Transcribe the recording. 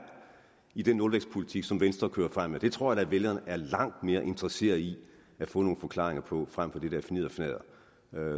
i den nulvækstpolitik som venstre kører frem med tror jeg da at vælgerne er langt mere interesseret i at få nogle forklaringer på frem for det der fnidderfnadder